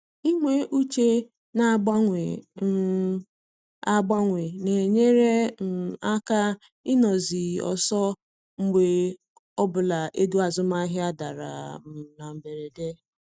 Inwe uche na-agbanwe um agbanwe na-enyere um aka ịnọ zi ọsọ mgbe ọbụla ego azụmahịa dara um na mberede